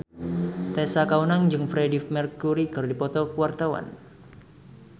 Tessa Kaunang jeung Freedie Mercury keur dipoto ku wartawan